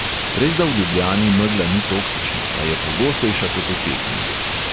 Resda v ljubljani megla ni toksična, a je pogostejša kot v pekingu.